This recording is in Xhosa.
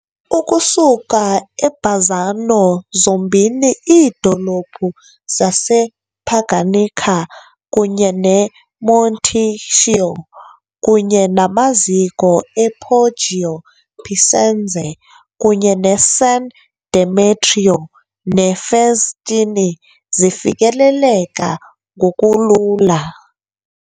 Ukusuka eBazzano zombini iidolophu zasePaganica kunye neMonticchio kunye namaziko ePoggio Picenze kunye neSan Demetrio ne'Vestini zifikeleleka ngokulula.